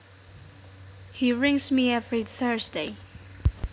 He rings me every Thursday